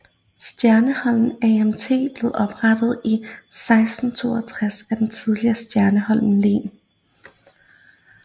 Stjernholm Amt blev oprettet i 1662 af det tidligere Stjernholm Len